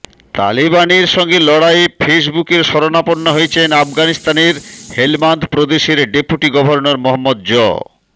তালেবানের সঙ্গে লড়াইয়ে ফেসবুকের শরণাপন্ন হয়েছেন আফগানিস্তানের হেলমান্দ প্রদেশের ডেপুটি গভর্নর মোহাম্মদ জ